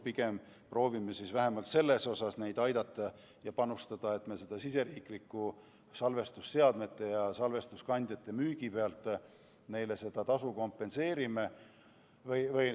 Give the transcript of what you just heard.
Pigem proovime vähemalt nii oma autoreid aidata ja nende tegevusse panustada, et me salvestusseadmete ja salvestuskandjate müügi pealt tulu anname.